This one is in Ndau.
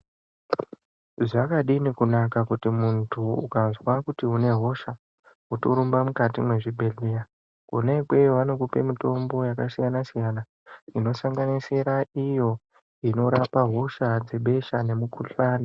Zvakadini kunaka kuti muntu ukazwa kuti unehosha, wotorumba mukati mezvibhedhleya, kona ikweyo vanokupa mitombo yakasiyana-siyana, inosanganisira iyo inorapa hosha dzebesha nemukuhlani.